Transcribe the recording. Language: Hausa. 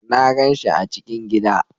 Na gan shi a cikin gida